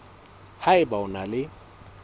ha eba o na le